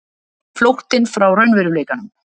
Flóttinn frá raunveruleikanum.